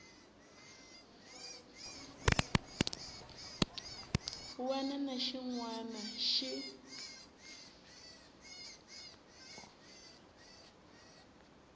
wana na xin wana xi